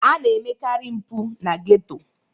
A na emekarị mpụ na geto.